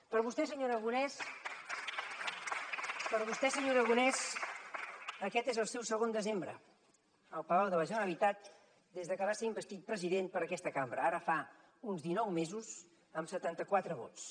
per a vostè senyor aragonès aquest és el seu segon desembre al palau de la generalitat des de que va ser investit president per aquesta cambra ara fa uns dinou mesos amb setanta quatre vots